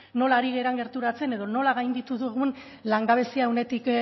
nola ari garen gerturatzen edo nola gainditu dugun langabezia